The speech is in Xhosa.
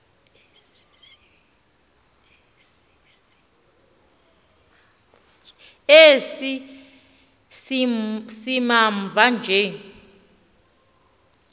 esi simamva nje